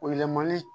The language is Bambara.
Yɛlɛmali